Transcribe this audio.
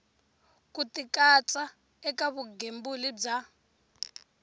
ku tikatsa eka vugembuli bya